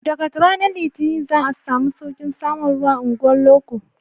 Daga ranar litinin za a samu sauƙin samun ruwa a unguwar loko